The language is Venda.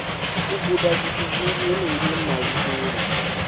u gudazwithu zwinzhi henengei malisoni